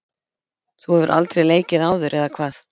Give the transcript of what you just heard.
Þú hefur aldrei leikið áður eða hvað?